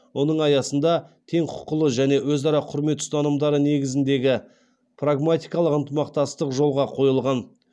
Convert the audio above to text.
оның аясында тең құқылы және өзара құрмет ұстанымдары негізгіндегі прагматикалық ынтымақтастық жолға қойылған